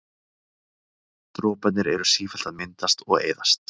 droparnir eru sífellt að myndast og eyðast